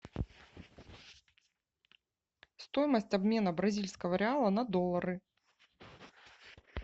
стоимость обмена бразильского реала на доллары